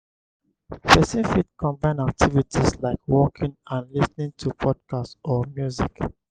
person fit combine activities like walking and lis ten ing to podcast or music